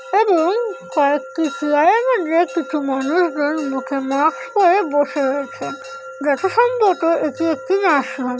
এবং কয়েকটি চেয়ার কিছু মানুষ মুখে মাস্ক পরে বসে রইছে যথাসম্ভবত এটি একটা নার্সিং হোম ।